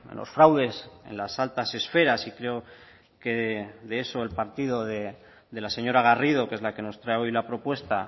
los fraudes en las altas esferas y creo que de eso el partido de la señora garrido que es la que nos trae hoy la propuesta